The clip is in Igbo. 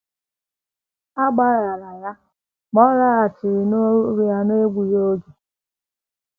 A gbaghaara ya, ma ọ laghachiri n’ọrụ ya n’egbughị oge.